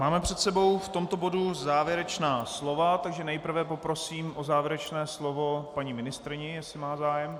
Máme před sebou v tomto bodu závěrečná slova, takže nejprve poprosím o závěrečné slovo paní ministryni, jestli má zájem.